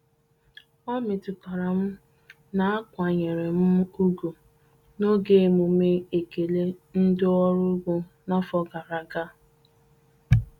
Ọ metutara m na akwanyere m ugwu n'oge emume ekele ndị ọrụ ugbo n'afọ gara aga.